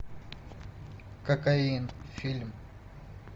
кокаин фильм